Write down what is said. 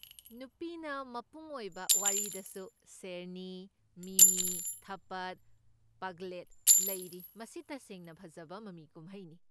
ꯅꯨꯄꯤꯅ ꯃꯄꯨꯡ ꯑꯣꯏꯕ ꯋꯥꯔꯤꯗꯁꯨ ꯁꯦꯔꯅꯤ, ꯃꯤꯃꯤ, ꯊꯥꯞꯄꯗ, ꯄꯥꯒ꯭ꯂꯦꯠ ꯂꯩꯔꯤ, ꯃꯁꯤ ꯇꯁꯦꯡꯅ ꯐꯖꯕ ꯃꯃꯤ ꯀꯨꯝꯍꯩꯅꯤ꯫